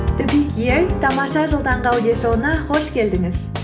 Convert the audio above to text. тамаша жыл таңғы аудиошоуына қош келдіңіз